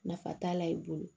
Nafa t'a la i bolo